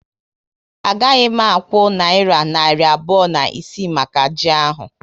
A gaghị m akwụ nayira narị abụọ na isii maka ji ahu